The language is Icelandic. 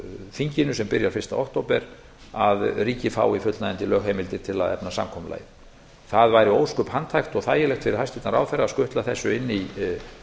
þinginu sem byrjar fyrsta október að ríkið fái fullnægjandi lögheimildir til að efna samkomulagið það væri ósköp handhægt og þægilegt fyrir hæstvirtan ráðherra að skutla þessu inn í frumvörp sem ég geri